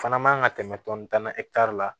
Fana man kan ka tɛmɛ tan na eta la